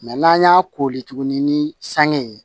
n'an y'a koli tuguni ni san ye